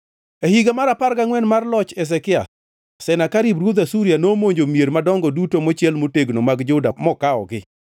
E higa mar apar gangʼwen mar loch Ruoth Hezekia, Senakerib ruodh Asuria nomonjo mier madongo duto mochiel motegno mag Juda mokawogi.